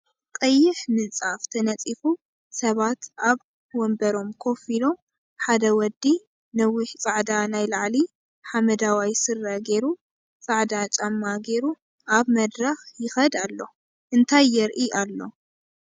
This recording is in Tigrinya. ቀይሕ ምንፃፍ ተነኢፉ ሰባት ኣብ ኦንበሮም ኮፍ ኢሎም ሓደ ወዲ ነዊሕ ፃዕዳ ናይ ላዕሊ ሓመደዋይ ስረ ጌሩ ፃዕዳ ጫማ ጌሩ ኣብ መድረክ ይከድ ኣሎ እንታይ የርኢ ኣሎ ?